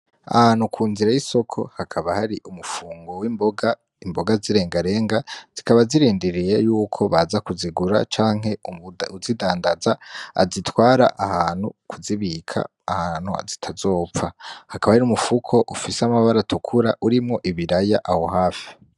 Ahantu ku nzira y'isoko hakaba hari umufungo w'imboga, imboga z'ilengalenga, zikaba zirindiriye yuko baza kuzigura canke uwuzidandaza azitwara ahantu kuzibika ahantu zitazopfa. Hakaba hari umufuko ufise amabara atukura urimwo ibiraya aho hafi.